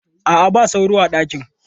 A'a, ba sauro a ɗakin.